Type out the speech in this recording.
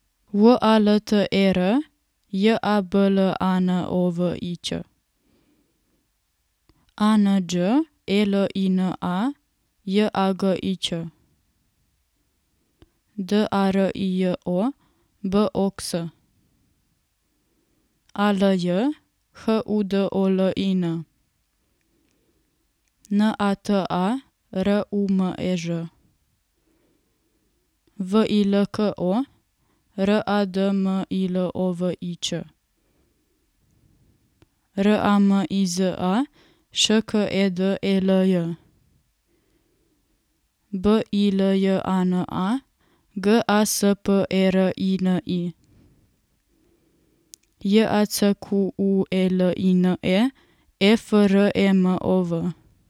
W A L T E R, J A B L A N O V I Ć; A N Đ E L I N A, J A G I Ć; D A R I J O, B O X; A L Y, H U D O L I N; N A T A, R U M E Ž; V I L K O, R A D M I L O V I Č; R A M I Z A, Š K E D E L J; B I L J A N A, G A S P E R I N I; J A C Q U E L I N E, E F R E M O V.